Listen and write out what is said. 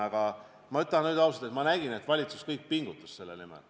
Aga ma ütlen ausalt, et ma nägin, et kogu valitsus pingutas selle nimel.